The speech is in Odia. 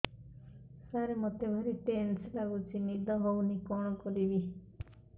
ସାର ମତେ ଭାରି ଟେନ୍ସନ୍ ଲାଗୁଚି ନିଦ ହଉନି କଣ କରିବି